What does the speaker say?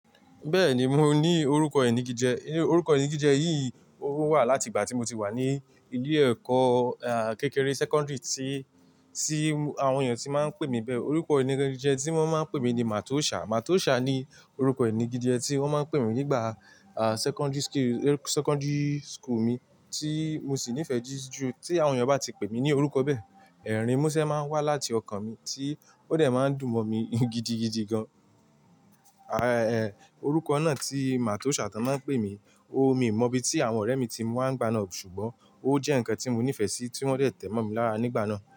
Bẹ́ẹ̀ni mo ní orúkọ inagije, orúko inagije eyí ò wà láti ìgbà tí mo ti wà ní ilé ẹ̀kọ́, à, kékeré secondary tí, tí àwọn èèyàn tí máa ń pè mí bẹ́ẹ̀. Orúkọ inagije tí wọ́n máa ń pè mí ní Matosha. Matosha ni orúkọ inagije tí wọ́n máa ń pè mí nígbà, à, secondary school, secondary school mi tí mo sì nífẹ̀ẹ́ jù jù. Tí àwọn èèyàn bá ti pè mí ní orúkọ bẹ́ẹ̀, ẹ̀rín múṣẹ́ máa ń wá láti ọkàn mi tí ó dẹ̀ máa ń dùn mọ́ mi gidigidi gan. Àá-ẹ́, orúkọ náà tí Matosha tí wọ́n máa ń pè mí, o mi mọ ibi tí àwọn ọ̀rẹ́ mi tí mu wa nigba náà, ṣùgbọ́n ó jẹ́ ǹkan tí mo nífẹ̀ẹ́ sí tí wọ́n dẹ̀ tẹ̀ mọ́ mi lára nígbà náà.